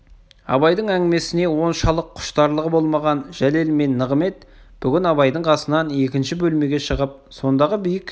абайдың әңгімесіне оншалық құштарлығы болмаған жәлел мен нығымет бүгін абайдың қасынан екінші бөлмеге шығып сондағы биік